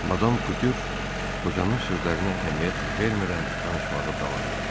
Madam Kütür qocanın sözlərinə əhəmiyyət vermədən danışmağa davam elədi.